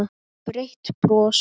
Breitt bros.